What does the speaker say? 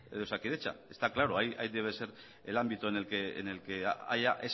en osakidetza está claro ahí debe ser el ámbito en el que haya